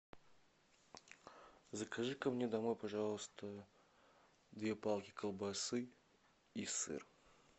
закажи ка мне домой пожалуйста две палки колбасы и сыр